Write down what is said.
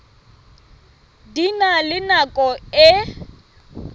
di na le nako e